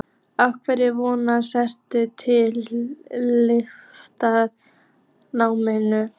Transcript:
Af hverju voru þeir staddir í yfirgefinni námu?